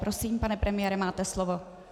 Prosím, pane premiére, máte slovo.